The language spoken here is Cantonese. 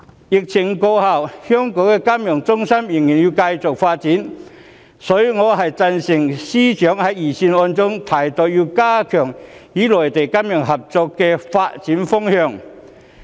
疫情過後，香港作為金融中心仍然要繼續發展，所以我贊成司長在預算案中提到的要加強與內地金融合作的發展方向。